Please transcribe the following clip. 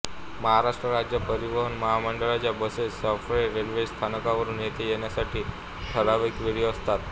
महाराष्ट्र राज्य परिवहन महामंडळाच्या बसेस सफाळे रेल्वे स्थानकावरून येथे येण्यासाठी ठरावीक वेळी असतात